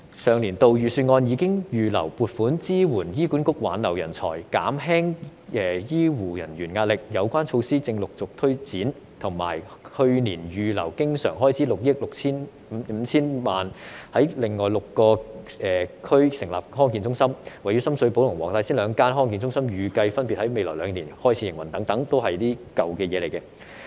上年度預算案已預留撥款支援醫管局挽留人才、減輕醫護人員壓力，有關措施正陸續推展，以及去年預留經常開支6億 5,000 萬元在另外6個區成立康健中心，位於深水埗和黃大仙兩間康健中心預計分別在未來兩年開始營運等，全都是舊的政策。